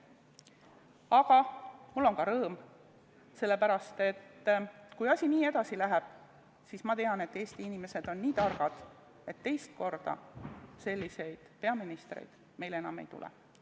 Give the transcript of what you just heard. Aga mul on ka rõõm, sellepärast, et kui asi nii edasi läheb, siis ma tean, et eesti inimesed on nii targad, et teist korda meile selliseid peaministreid enam ei tule.